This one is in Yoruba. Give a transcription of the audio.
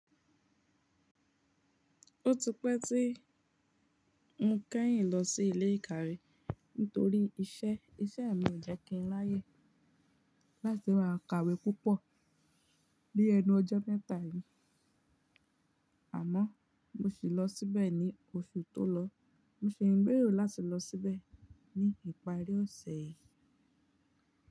Ó ti pẹ́ tí mo kẹ́yìn lọ sí ilé ìkàwé nítorí iṣẹ́. Iṣẹ́ mi ò jẹ́ kí ń láyè láti máa kàwé púpọ̀ ní ẹnu ọjọ́ mẹ́ta yìí. Àmọ́ mo sì lọ síbẹ̀ ní oṣù tó lọ. Mo ṣe ìgbérò láti lọ síbẹ̀ ní ìparí ọ̀sẹ̀ yìí.